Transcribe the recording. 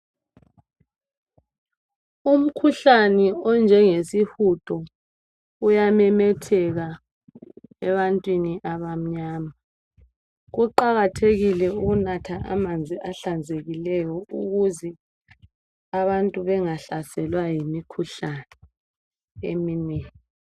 Umkhuhlane onjenge sihudo uyamemetheka ebantwini abamnyama kuqakathekile ukunatha amanzi ahlanzekileyo ukuze abantu bengahlaselwa yimikhuhlane eminengi.